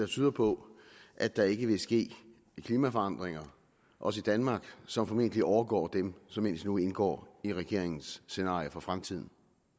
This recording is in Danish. tyder på at der ikke vil ske klimaforandringer også i danmark som formentlig overgår dem som indtil nu indgår i regeringens scenarier for fremtiden